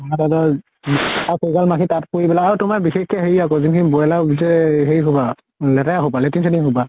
এগাল মাখি তাত পৰি পেলে আৰু তোমাৰ বিশেষকে হেৰি আকৌ যোন খিনি ব্ৰইলাৰৰ হেৰি খোপা লেতেৰা খোপা latrine চেত্ৰিন খোপা